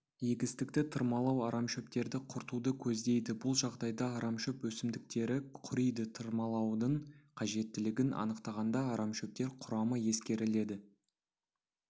егістікті тырмалау арамшөптерді құртуды көздейді бұл жағдайда арамшөп өсімдіктері құриды тырмалаудың қажеттілігін анықтағанда арамшөптер құрамы ескеріледі